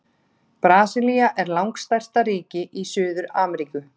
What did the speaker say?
Brasilía er langstærsta ríki í Suður-Ameríku.